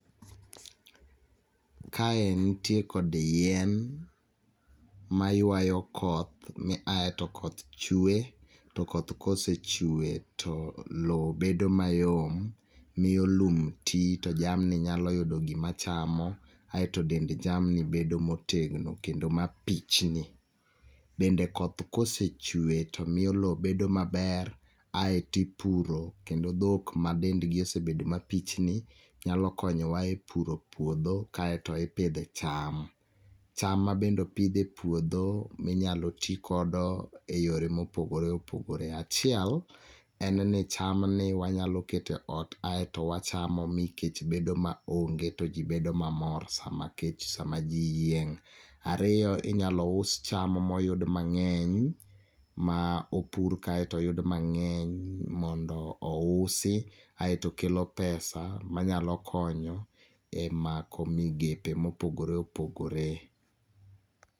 Kae nitie kod yien mayuayo koth miae to koth chwe, to koth kosechwe to lowo bedo mayom, miyo lum ti to jamni nyalo yudo gima chamo, aeto dend jamni bedo motegno kendo mapichni. Bende koth kosechwe to miyo loo bedo maber aeto ipuro kendo dhok madendgi osebedo ka pichni, nyalo konyowa e puro puodho kaeto ipidhe cham. Cham ma bende opidh e puodho minyalo ti kodo eyore mopogore opogore. Achiel en ni chamni wanyalo keto e ot aeto wachamo mikech bedo maonge to ji bedo mamor sama kech sama ji yieng'. Ariyo, in yalo us cham moyud mang'eny, ma opur kaeto oyud mang'eny mondo ousi aeto kelo pesa manyalo konyo e mako migepe mopogore opogore.